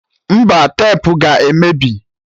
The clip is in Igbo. Mba, tepu ga-emebi